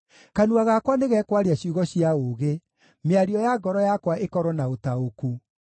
Kanua gakwa nĩgekwaria ciugo cia ũũgĩ, mĩario ya ngoro yakwa ĩkorwo na ũtaũku.